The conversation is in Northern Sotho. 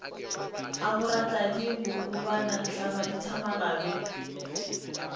a boratladi bohulwana thlabadithamaga be